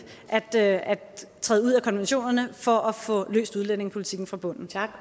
at træde ud af konventionerne for at få løst udlændingepolitikken fra bunden